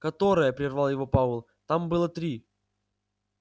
которое прервал его пауэлл там было три